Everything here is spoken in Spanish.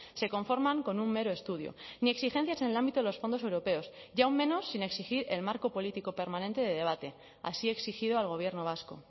se conforman con un mero estudio ni exigencias en el ámbito de los fondos europeos y aún menos sin exigir el marco político permanente de debate así exigido al gobierno vasco